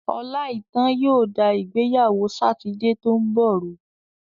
Ọláìítán yóò da ìgbéyàwó Sátidé tó ń bọ̀ rú.